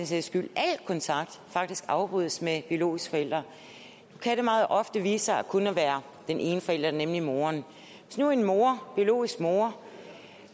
sags skyld al kontakt faktisk afbrydes med biologiske forældre nu kan det meget ofte vise sig kun at være den ene forælder nemlig moderen hvis nu en mor biologisk mor